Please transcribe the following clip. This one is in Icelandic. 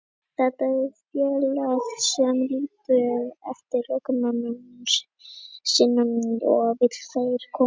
Þetta er félag sem lítur eftir leikmönnum sínum og vill að þeir komist áfram.